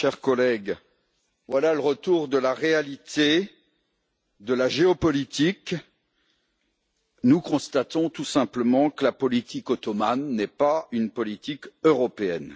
Madame la Présidente, chers collègues, voilà le retour de la réalité de la géopolitique. Nous constatons tout simplement que la politique ottomane n'est pas une politique européenne.